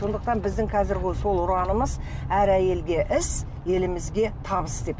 сондықтан біздің қазіргі сол ұранымыз әр әйелге іс елімізге табыс деп